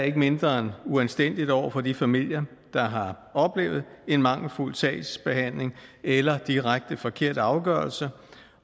er mindre end uanstændigt over for de familier der har oplevet en mangelfuld sagsbehandling eller direkte forkert afgørelse